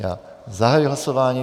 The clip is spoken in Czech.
Já zahajuji hlasování.